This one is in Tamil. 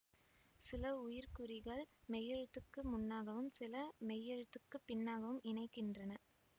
சில உயிர்க்குறிகள் மெய்யெழுத்துக்கு முன்னாகவும் சில மெய்யெழுத்துக்கு பின்னாகவும் இணைக்கின்றன